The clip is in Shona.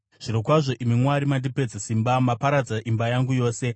Zvirokwazvo, imi Mwari, mandipedza simba; maparadza imba yangu yose.